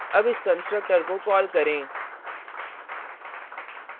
अब इस constructor को कॉल करें